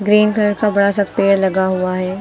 Green colour का बड़ा सा पेड़ लगा हुआ है।